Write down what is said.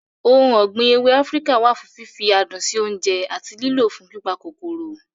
Ohun ọ̀gbìn ewé Áfíríkà wà fún fífi adùn sí oúnjẹ àti lílọ̀ fún pípa kòkòrò.